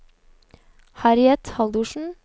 Harriet Haldorsen